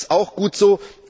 Das ist auch gut so.